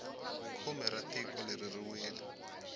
khume ra tiko leri ri wile